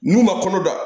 N'u ma kɔnɔ da